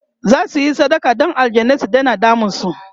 zasuyi sadaka Dan aljanai su Daina damun su